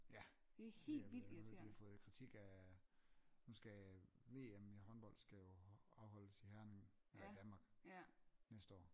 Ja jeg har hørt de har fået kritik af nu skal VM i håndbold skal jo afholdes i Herning eller i Danmark næste år